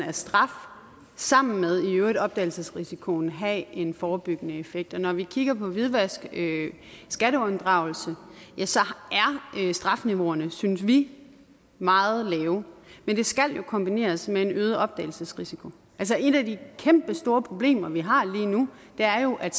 af straf sammen med opdagelsesrisikoen kan have en forebyggende effekt og når vi kigger på hvidvask skatteunddragelse er strafniveauerne synes vi meget lave men det skal jo kombineres med en øget opdagelsesrisiko altså et af de kæmpestore problemer vi har lige nu er jo at